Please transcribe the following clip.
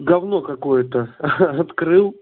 гавно какое-то ха-ха открыл